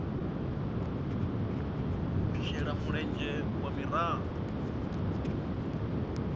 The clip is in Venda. u shela mulenzhe ha miraḓo